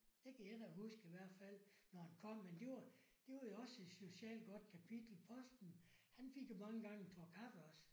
Det kan jeg da huske i hvert fald. Når den kom men det var det var jo også et socialt godt kapitel posten han fik jo mange gange en tår kaffe også